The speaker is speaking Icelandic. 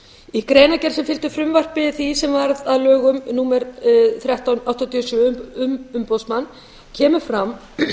í greinargerð sem fylgdi frumvarpi því sem varð að lögum númer þrettán nítján hundruð áttatíu og sjö um umboðsmann kemur fram